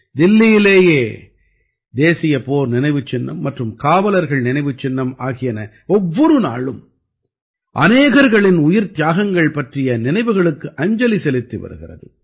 தில்லியிலேயே தேசிய போர் நினைவுச் சின்னம் மற்றும் காவலர்கள் நினைவுச் சின்னம் ஆகியன ஒவ்வொரு நாளும் அநேகர்களின் உயிர்த்தியாகங்கள் பற்றிய நினைவுகளுக்கு அஞ்சலி செலுத்தி வருகிறது